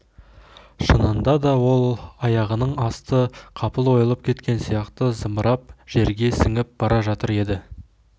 шынында да ол аяғының асты қапыл ойылып кеткен сияқты зымырап жерге сіңіп бара жатыр еді